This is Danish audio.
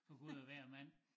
For Gud og hver mand